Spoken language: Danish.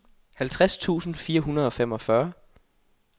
halvtreds tusind fire hundrede og femogfyrre